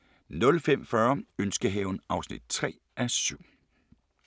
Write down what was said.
05:40: Ønskehaven (3:7)